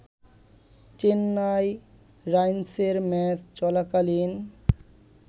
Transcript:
চেন্নাই রাইনসের ম্যাচ চলাকালীন